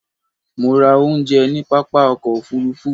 Mo ra oúnjẹ ní pápá ọkọ̀ òfurufú